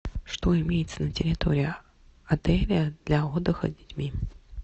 что имеется на территории отеля для отдыха с детьми